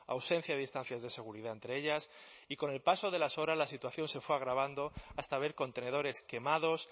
ausencia de distancias de seguridad entre ellas y con el paso de las horas la situación se fue agravando hasta ver contenedores quemados